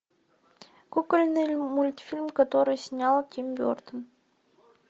кукольный мультфильм который снял тим бертон